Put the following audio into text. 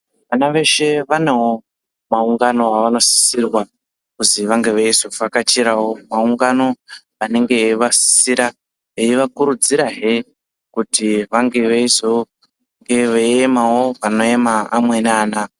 Vana veshe vanewo maungano avanosisirwa kuzi vange veizovhakachirawo maungano anenge eivasisira, eivakurudzirahe kuti vange veizonga veiemawo panoema amweni ana.